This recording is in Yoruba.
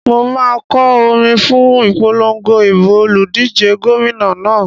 Mo máa kọ orin fún ìpolongo ìbò olùdíje gómìnà náà.